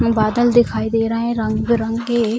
बादल दिखाई दे रहे है रंग-बिरंगे।